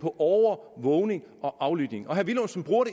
på overvågning og aflytning og herre villumsen bruger